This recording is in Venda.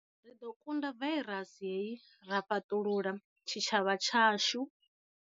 Ri ḓo kunda vairasi hei ra fhaṱulula tshitshavha tshashu.